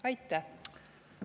Aitäh!